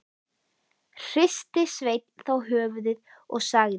Hristi Sveinn þá höfuðið og sagði: